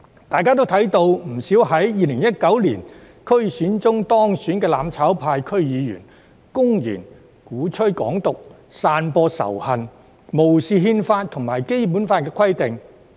大家也看到，不少在2019年區議會選舉中當選的"攬炒派"區議員，公然鼓吹"港獨"、散播仇恨，並無視憲法與《基本法》的規定。